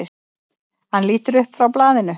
Hann lítur upp frá blaðinu.